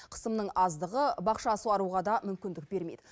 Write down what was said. қысымның аздығы бақша суаруға да мүмкіндік бермейді